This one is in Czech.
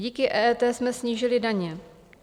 Díky EET jsme snížili daně.